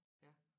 Ja